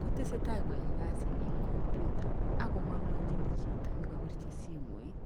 Kotesetai koyae kasinyi eng comuter akong'alalchin chito nekapirchi simoit.